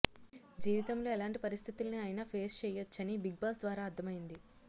జీవితంలో ఎలాంటి పరిస్థితుల్ని అయినా ఫేస్ చేయొచ్చని బిగ్ బాస్ ద్వారా అర్థమైంది